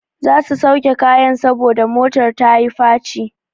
Za su sauke kayan saboda motar ta yi faci.